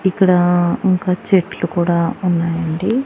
ఇక్కడ ఇంకా చెట్లు కూడా ఉన్నాయండి.